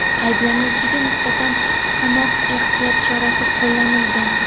Ayblanuvchiga nisbatan qamoq ehtiyot chorasi qo‘llanilgan.